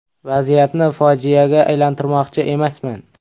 Vaziyatni fojiaga aylantirmoqchi emasman.